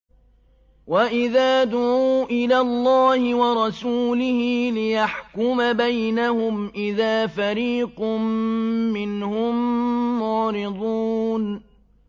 وَإِذَا دُعُوا إِلَى اللَّهِ وَرَسُولِهِ لِيَحْكُمَ بَيْنَهُمْ إِذَا فَرِيقٌ مِّنْهُم مُّعْرِضُونَ